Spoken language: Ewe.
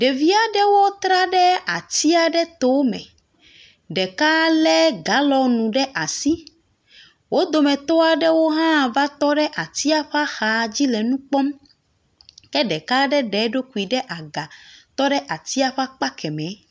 Ɖevi aɖewo tra ɖe ati aɖe tome. Ɖeka lé galɔ̃nu ɖe asi. Wo dometɔ aɖewo hã va tɔ ɖe atia ƒe ax.adzi le nu kpɔm. Ke ɖeka aɖe ɖe eɖokui ɖe aga tɔ ɖe atia ƒe akpa kemɛ.